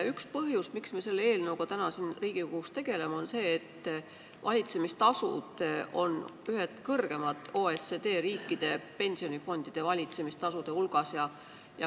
Üks põhjus, miks me selle eelnõuga täna siin Riigikogus tegeleme, on see, et valitsemistasud on meil ühed kõrgemad OECD riikide pensionifondide valitsemistasude hulgas.